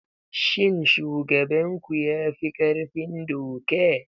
Shin shugaban ku ya fi ƙarfin doka?